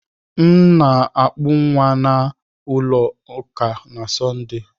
M na akupu nwa m na ulo uka na Sọnde.